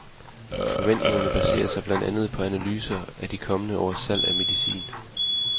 Forventningerne baserer sig blandt andet på analyser af de kommende års salg af medicin.